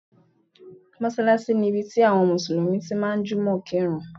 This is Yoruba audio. Mọ́ṣálásí ni ibi tí àwọn Mùsùlùmí tí ń jùmọ̀ kírun.